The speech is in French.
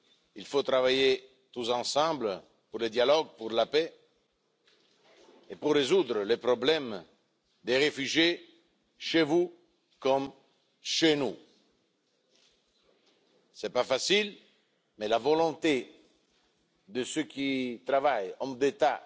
Il faut travailler tous ensemble pour le dialogue, pour la paix et pour résoudre le problème des réfugiés, chez vous comme chez nous. Cela n'est pas facile, mais grâce à la volonté de ceux qui travaillent, hommes d'État